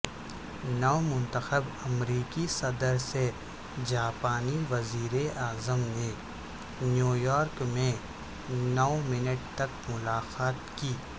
نومنتخب امریکی صدر سے جاپانی وزیراعظم نے نیویارک میں نوے منٹ تک ملاقات کی